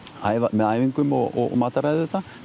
með æfingum og mataræði